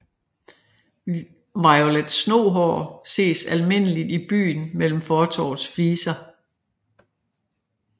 Violet Snohår ses almindeligt i byen mellem fortovets fliser